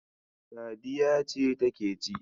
Sadiya ce take ci.